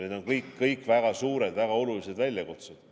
Need on kõik väga suured, väga olulised väljakutsed.